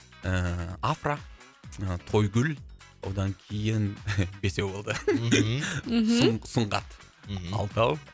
ііі афра ы тойгүл одан кейін бесеу болды мхм мхм сұңғат мхм алтау